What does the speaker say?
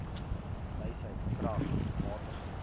wysheid krag matigheid